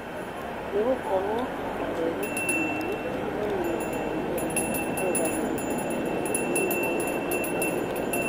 Nĩgũkoretwo na ndereti nene ĩkoniĩ wagi wa arũgamĩrĩri airũ kana nĩ kũimwo mĩeke